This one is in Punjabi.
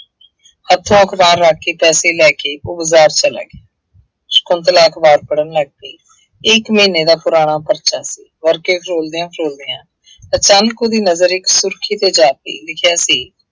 ਅੱਛਾ ਉਹ ਅਖਬਾਰ ਰੱਖ ਕੇ ਪੈਸੇ ਲੈ ਕੇ ਉਹ ਬਾਜ਼ਾਰ ਚਲਾ ਗਿਆ ਸ਼ੰਕੁਤਲਾ ਅਖਬਾਰ ਪੜ੍ਹਨ ਲੱਗ ਪਈ। ਇੱਕ ਮਹੀਨੇ ਦਾ ਪੁਰਾਣਾ ਪਰਚਾ ਸੀ, ਵਰਕੇ ਫਰੋਲਦਿਆਂ ਫਰੋਲਦਿਆਂ ਅਚਾਨਕ ਉਹਦੀ ਨਜ਼ਰ ਇੱਕ ਸੁਰਖੀ ਤੇ ਜਾ ਪਈ, ਲਿਖਿਆ ਸੀ।